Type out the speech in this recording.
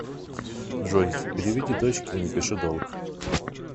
джой переведи дочке и напиши долг